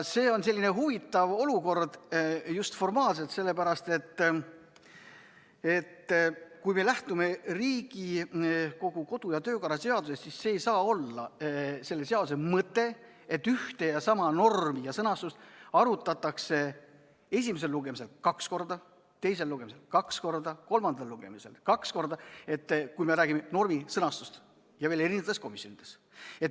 See on selline huvitav olukord just formaalselt, sellepärast, et kui me lähtume Riigikogu kodu- ja töökorra seadusest, siis ei saa selle mõte olla see, et ühe ja sama normi sõnastust arutatakse esimesel lugemisel kaks korda, teisel lugemisel kaks korda, kolmandal lugemisel kaks korda, kui me räägime normi sõnastusest ja veel erinevates komisjonides.